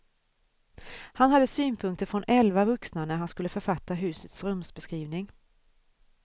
Han hade synpunkter från elva vuxna när han skulle författa husets rumsbeskrivning.